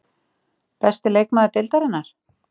Besti leikmaður Deildarinnar?